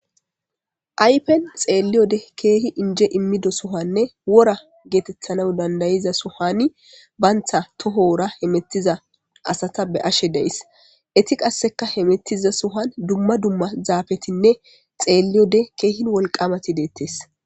aypen xeelliyode keehi inje immido sohanne wora geetethana dandayiza sohani bantha toho wora he mettiza asata be ashe deys eti qasseka he mettiza suhan dumma dumma zaabetinne xeelliyode keehin wolqamati deettes